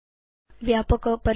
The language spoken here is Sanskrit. व्यापक परीक्षा